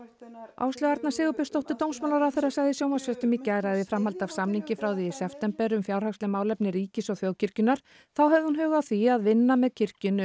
Áslaug Arna Sigurbjörnsdóttir dómsmálaráðherra sagði í sjónvarpsfréttum í gær að í framhaldi af samningi frá því í september um fjárhagsleg málefni ríkis og þjóðkirkjunnar þá hefði hún hug að því vinna með kirkjunni